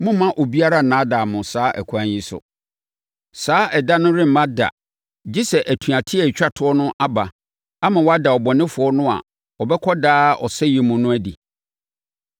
Mommma obiara nnaadaa mo saa ɛkwan yi so. Saa Ɛda no remma da gye sɛ atuateɛ a ɛtwa toɔ no aba ama wɔada ɔbɔnefoɔ no a ɔbɛkɔ daa ɔsɛeɛ mu no adi.